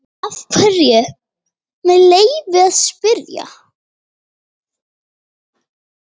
Af hverju, með leyfi að spyrja?